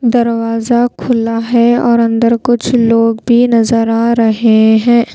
दरवाजा खुला है और अंदर कुछ लोग भी नजर आ रहे हैं।